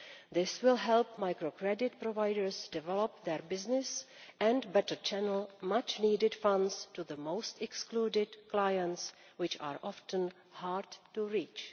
This will help microcredit providers develop their business and better channel much-needed funds to the most excluded clients, which are often hard to reach.